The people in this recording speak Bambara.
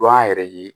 Dɔn an yɛrɛ ye